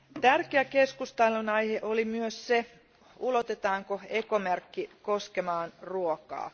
Tärkeä keskustelun aihe oli myös se, ulotetaanko ekomerkki koskemaan ruokaa.